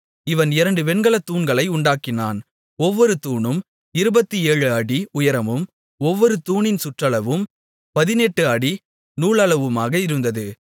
இவன் இரண்டு வெண்கலத் தூண்களை உண்டாக்கினான் ஒவ்வொரு தூணும் 27 அடி உயரமும் ஒவ்வொரு தூணின் சுற்றளவும் 18 அடி நூலளவுமாக இருந்தது